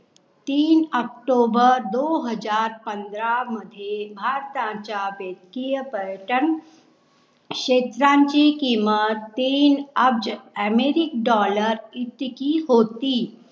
तीन ऑक्टोबर दो हजार पंधरा मध्ये भारताचा बेटकीय पर्यटन क्षेत्रांची किंमत तीन अब्झ अमेरिक डॉलर इतकी होती.